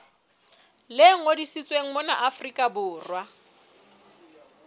le ngodisitsweng mona afrika borwa